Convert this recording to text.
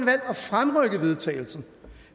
fremrykke vedtagelsen